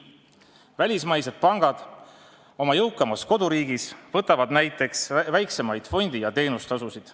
Välismaised pangad võtavad oma jõukamas koduriigis näiteks väiksemaid fondi- ja teenustasusid.